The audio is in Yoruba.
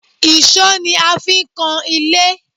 Èṣó ni a fi ń kan ilé